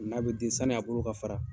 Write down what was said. N'a bi den sani, a bolo ka fara